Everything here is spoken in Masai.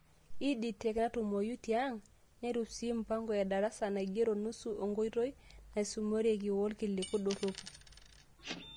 Ed Tech: Naatumoyu tiang', netum sii mpango edarasa naigero nusu onkoitoi naisumisoreki, workiliku dorropu.